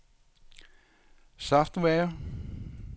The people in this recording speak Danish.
software